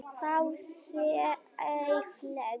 Það sé eðlilegt.